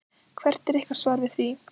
Hvert er ykkar svar við því?